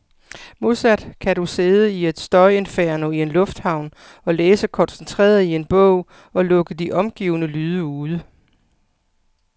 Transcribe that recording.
Modsat kan du sidde i et støjinferno i en lufthavn og læse koncentreret i en bog, og lukke de omgivende lyde ude.